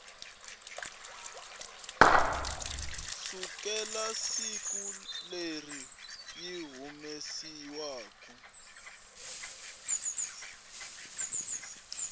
sukela siku leri yi humesiwaku